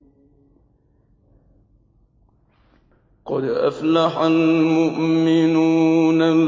قَدْ أَفْلَحَ الْمُؤْمِنُونَ